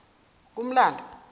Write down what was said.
kumlando